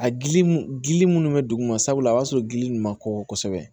A gili mun gili munnu be duguma sabula a y'a sɔrɔ gili ninnu ma kɔkɔ kosɛbɛ